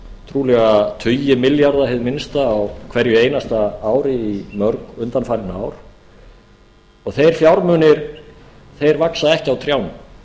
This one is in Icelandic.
trúlega tugi milljarða í það minnsta á hverju einasta ári í mörg undanfarin ár þeir fjármunir vaxa ekki á trjánum